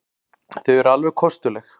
Þau eru alveg kostuleg.